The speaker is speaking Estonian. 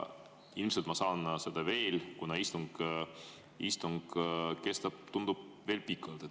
Ilmselt ma saan seda veel, kuna istung kestab, tundub, veel pikalt.